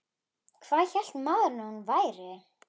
Hvað hélt maðurinn að hún væri?